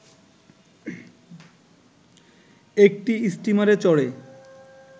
একটি স্টিমারে চড়ে